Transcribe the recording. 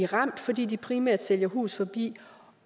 ramt fordi de primært sælger hus forbi